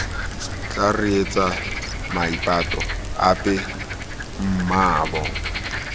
tla reetsa maipato ape mmaabo